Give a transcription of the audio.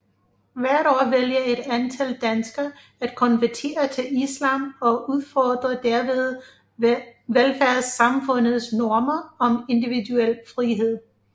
Hvert år vælger et antal danskere at konvertere til islam og udfordrer derved velfærdssamfundets normer om individuel frihed